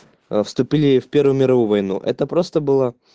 а вступили в первую мировую войну это просто было